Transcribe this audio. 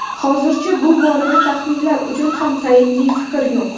Hozircha bu borada taxminlar uchun ham tayinli fikr yo‘q.